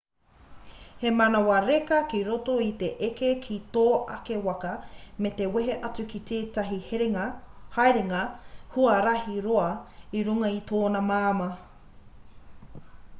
he manawa reka ki roto i te eke ki tō ake waka me te wehe atu ki tētahi haerenga huarahi roa i runga i tōna māmā